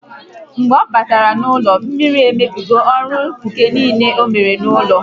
Mgbe ọ batara n'ụlọ, mmiri emebigo ọrụ ǹkà niile onwere n'ụlọ